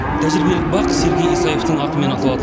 тәжірибелік бақ сергей исаевтің атымен аталады